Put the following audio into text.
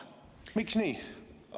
Miks nii?